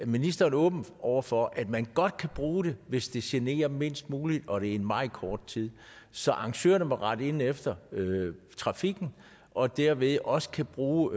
ministeren åben over for at man godt kan bruge den hvis det generer mindst muligt og det er i meget kort tid så arrangørerne må altså rette ind efter trafikken og dermed kan de også bruge